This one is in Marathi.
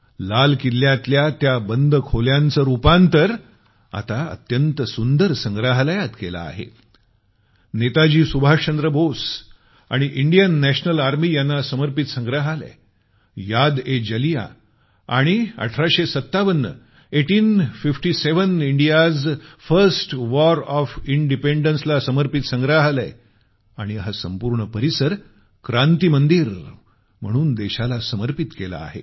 लाल किल्ल्यातल्या बंद खोल्यांचं रुपांतर आता अत्यंत सुंदर संग्रहालयात केलं आहे नेताजी सुभाषचंद्र बोस आणि इंडियन नॅशनल आर्मी यांना समर्पित संग्रहालय यादएजलियां आणि 1857 eighteen fifty seven India's first war of independence ला समर्पित संग्रहालय आणि हा संपूर्ण परिसर क्रांती मंदिर म्हणून देशाला समर्पित केला आहे